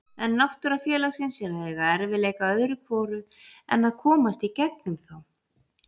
En náttúra félagsins er að eiga erfiðleika öðru hvoru en að komast í gegnum þá.